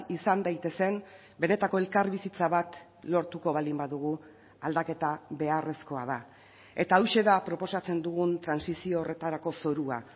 izan daitezen benetako elkarbizitza bat lortuko baldin badugu aldaketa beharrezkoa da eta hauxe da proposatzen dugun trantsizio horretarako zorua